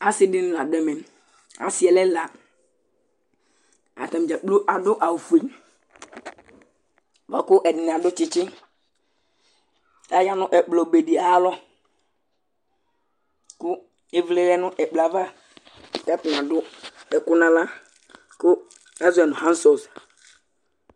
asi dini la du ɛmɛ asiɛ lɛ ɛla, ata ni dzakplo adu awu fue, bʋa ku ɛdini adu tsitsi kaya nu ɛkplɔ be di ayalɔ, ku ivli lɛ nu ɛkplɔɛ ava ku ata ni adu ɛku aɣla, ku azɔɛ nu hansɔs